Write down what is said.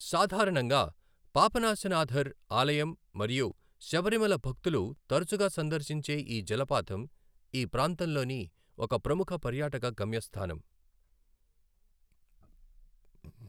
సాధారణంగా పాపనాసనథర్ ఆలయం మరియు శబరిమల భక్తులు తరచుగా సందర్శించే ఈ జలపాతం, ఈ ప్రాంతంలోని ఒక ప్రముఖ పర్యాటక గమ్యస్థానం.